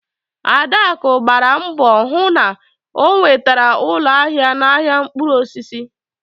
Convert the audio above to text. Adaku gbara mbọ hụ na o nwetara ụlọ ahịa n'ahiá mkpụrụ osisi